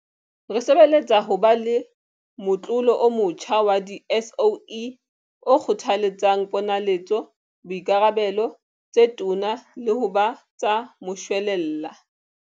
Re sebeletsa ho ba le motlolo o motjha wa di-SOE o kgothaletsang ponaletso, boikarabelo tse toma le ho ba tsa moshwelella.